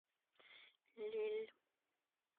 лель